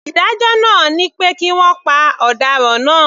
Ìdájọ́ náà ni pé kí wọ́n pa ọ̀daràn náà.